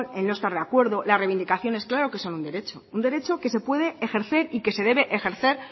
en no estar de acuerdo la reivindicaciones claro que son un derecho un derecho un derecho que se puede ejercer y que se debe ejercer